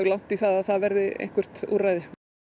langt í það að það verði eitthvert úrræði